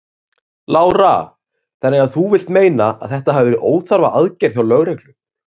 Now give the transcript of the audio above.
Lára: Þannig að þú vilt meina að þetta hafi verið óþarfa aðgerð hjá lögreglu?